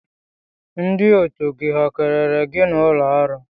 Ndị otu gị ha kelere gị n'ụlọ ọrụ?